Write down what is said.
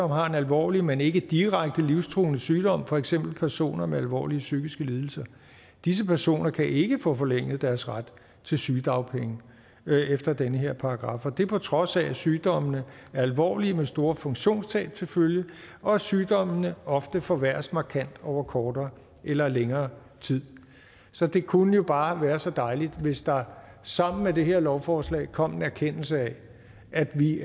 har en alvorlig men ikke direkte livstruende sygdom for eksempel personer med alvorlige psykiske lidelser disse personer kan ikke få forlænget deres ret til sygedagpenge efter den her paragraf og det er på trods af at sygdommene er alvorlige med store funktionstab til følge og at sygdommene ofte forværres markant over kortere eller længere tid så det kunne jo bare være så dejligt hvis der sammen med det her lovforslag kom en erkendelse af at vi